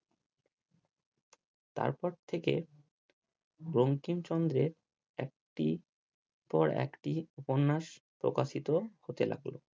তারপর থেকে বঙ্কিমচন্দ্রের একটির পর একটি উপন্যাস প্রকাশিত হতে লাগলো।